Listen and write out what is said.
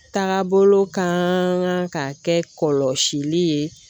Taagabolo kan ka kɛ kɔlɔsili ye